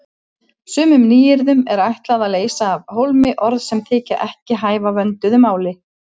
Sumum nýyrðum er ætlað að leysa af hólmi orð sem þykja ekki hæfa vönduðu máli.